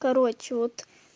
короче вот